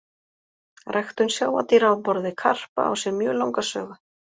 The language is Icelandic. Ræktun sjávardýra á borð við karpa á sér mjög langa sögu.